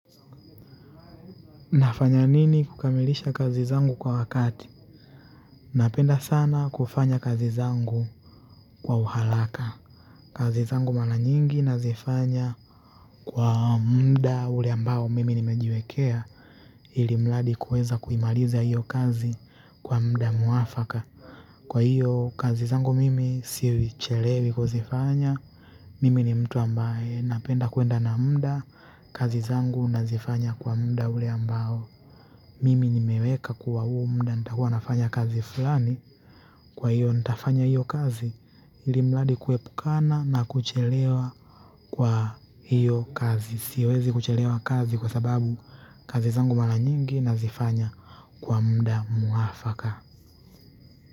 Nafanya nini kukamilisha kazi zangu kwa wakati napenda sana kufanya kazi zangu kwa uharaka kazi zangu maana nyingi nazifanya kwa muda ule ambao mimi nimejiwekea ili mradi kuweza kuimaliza iyo kazi kwa muda mwafaka kwa iyo kazi zangu mimi si chelewi kuzifanya mimi ni mtu ambaye napenda kuenda na muda kazi zangu nazifanya kwa muda ule ambao mimi nimeweka kuwa huu muda nitakuwa nafanya kazi fulani kwa hiyo nitafanya hiyo kazi ilimradi kuepukana na kuchelewa kwa hiyo kazi. Siwezi kuchelewa kazi kwa sababu kazi zangu mara nyingi nazifanya kwa muda mwafaka.